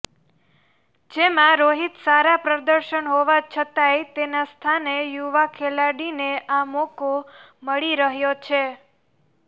જેમાં રોહિત સારા પ્રદર્શન હોવા છતાંય તેના સ્થાને યુવા ખેલાડીને આ મોકો મળી રહ્યો છે